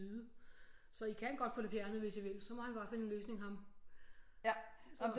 Så I kan godt få det fjernet hvis I vil så må han bare finde en løsning ham